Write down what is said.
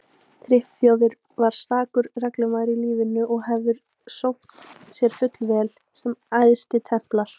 Friðþjófur var stakur reglumaður í lífinu og hefði sómt sér fullvel sem æðstitemplar.